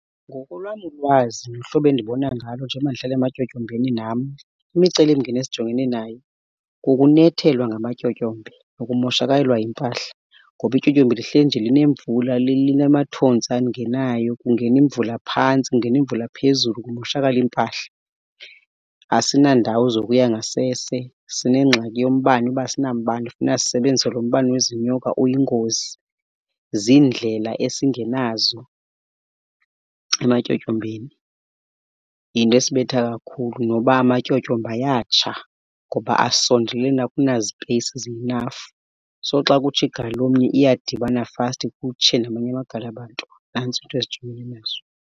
Ngokolwam ulwazi nohlobo endibona ngalo njengoba ndihlala ematyotyombeni nam, imicelimngeni esijongene nayo kukunethelwa ngamatyotyombe nokumoshakalelwa yimpahla. Ngoba ityotyombe lihleli nje linemvula linamathontsi angenayo. Kungena imvula phantsi, kungena imvula phezulu, kumoshakale iimpahla. Asinandawo zokuya ngasese, sinengxaki yombane, uba asinambane kufuneka sisebenzise lo mbane wezinyoka uyingozi. Ziindlela esingenazo ematyotyombeni. Yinto esibetha kakhulu, noba amatyotyombe ayatsha ngoba asondelelene akunazipeyisizi zi-enough. So xa kutsha igali lomnye iyadibana fasti kutshe namanye amagali abantu. Nantso iinto esijongene nazo.